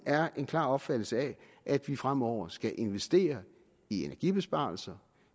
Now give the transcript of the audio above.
er en klar opfattelse af at vi fremover skal investere i energibesparelser